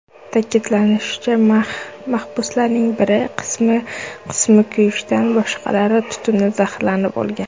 Ta’kidlanishicha, mahbuslarning bir qismi kuyishdan, boshqalari tutundan zaharlanib o‘lgan.